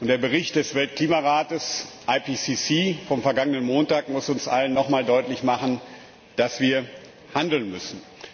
Der Bericht des Weltklimarates IPCC vom vergangenen Montag muss uns allen noch einmal deutlich machen, dass wir handeln müssen.